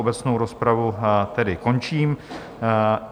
Obecnou rozpravu tedy končím.